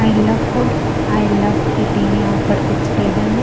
I love food I love eating यहां पर कुछ टेबल है।